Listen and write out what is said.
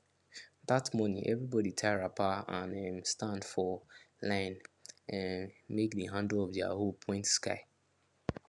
that morning everybody tie wrapper and um stand for line um make the handle of their hoe point sky